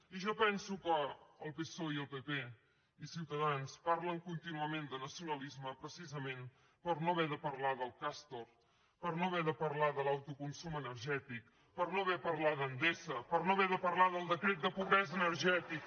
i jo penso que el psoe i el pp i ciutadans parlen contínuament de nacionalisme precisament per no haver de parlar del castor per no haver de parlar de l’autoconsum energètic per no haver de parlar d’endesa per no haver de parlar del decret de pobresa energètica